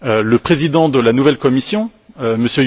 Le président de la nouvelle Commission, M.